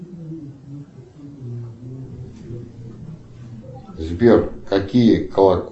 сбер какие